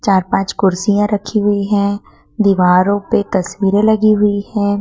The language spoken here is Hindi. चार पांच कुर्सियां रखी हुई हैं दीवारों पे तस्वीरें लगी हुई हैं।